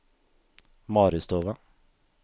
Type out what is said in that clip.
Maristova